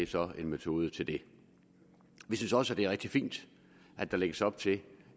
så en metode til det vi synes også at det er rigtig fint at der lægges op til